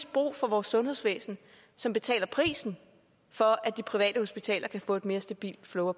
brug for vores sundhedsvæsen som betaler prisen for at de private hospitaler kan få et mere stabilt flow